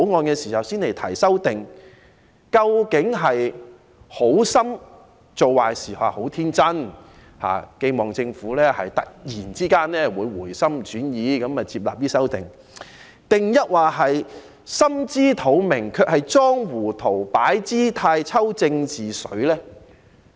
究竟他們是好心做壞事，十分天真的期望政府突然會回心轉意，接納他們的修正案，還是心知肚明卻裝糊塗、擺姿態、"抽政治水"呢？